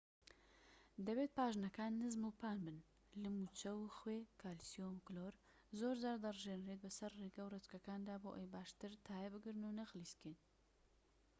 دەبێت پاژنەکان نزم و پان بن. لم و چەو و خوێ کالیسیۆم کلۆر زۆرجار دەڕژێنرێت بەسەر ڕێگە و ڕێچکەکاندا بۆ ئەوەی باشتر تایە بگرن و نەخلیسکێت